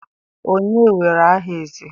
onye were aha eze?